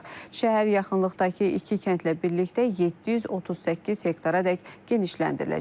Şəhər yaxınlıqdakı iki kəndlə birlikdə 738 hektaradək genişləndiriləcək.